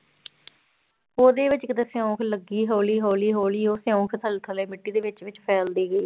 ਉਹਦੇ ਵਿੱਚ ਕਿਤੇ ਸਿਉਂਖ ਲੱਗੀ ਹੌਲੀ ਹੌਲੀ ਹੌਲੀ ਉਹ ਸਿਉਂਖ ਥੱਲੇ ਥੱਲੇ ਮਿੱਟੀ ਦੇ ਵਿੱਚ ਵਿੱਚ ਫੈਲਦੀ ਗਈ।